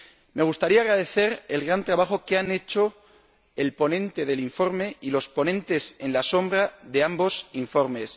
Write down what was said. Me gustaría agradecer el gran trabajo que han hecho el ponente del informe y los ponentes alternativos de ambos informes.